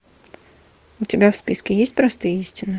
у тебя в списке есть простые истины